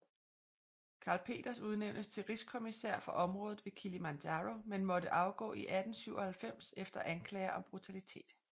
Karl Peters udnæntes til rigskommissær for området ved Kilimanjaro men måtte afgå i 1897 efter anklager om brutalitet